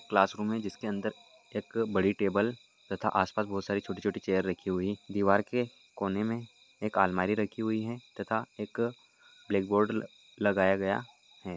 Classroom है जिसके अंदर एक बड़ी टेबल तथा आसपास बोहत सारी छोटी-छोटी चेयर राखी हुई है दीवार के कोने मे एक अलमारी राखी हुई है तथा एक ब्लॅकबोर्ड लगाया गया है।